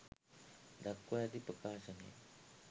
දක්වා ඇති ප්‍රකාශනය